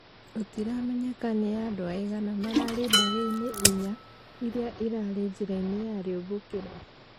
Gũtiramenyeka nĩa andũ aigana mararĩ ndege-inĩ inya, iria ĩrarĩ njĩra-inĩ ya rĩũmbũkĩro